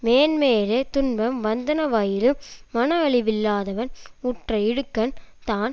மேன்மேலே துன்பம் வந்தனவாயினும் மனஅழிவில்லாதவன் உற்ற இடுக்கண் தான்